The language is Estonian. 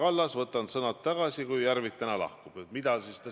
Aga selgitan seda ka väljaspool Riigikogu saali, kohtudes erinevate inimestega.